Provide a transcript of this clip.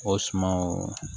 O sumanw